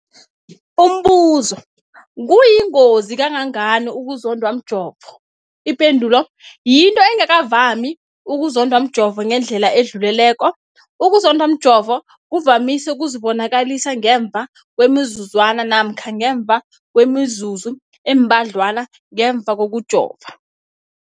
Umbuzo, kuyingozi kangangani ukuzondwa mjovo? Ipendulo, yinto engakavami ukuzondwa mjovo ngendlela edluleleko. Ukuzondwa mjovo kuvamise ukuzibonakalisa ngemva kwemizuzwana namkha ngemva kwemizuzu embadlwana ngemva kokujova.